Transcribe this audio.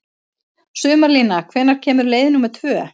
Sumarlína, hvenær kemur leið númer tvö?